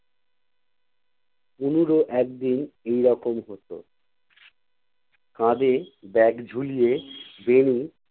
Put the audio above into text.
তনুরও একদিন এইরকম হতো। কাঁধে bag ঝুলিয়ে বেণি।